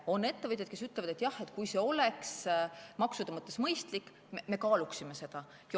On ettevõtjaid, kes ütlevad, et jah, kui see oleks maksude mõttes mõistlik, siis nad kaaluksid seda.